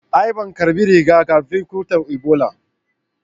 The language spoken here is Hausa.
A'a ban karɓi riga-kafin cutar Ibola.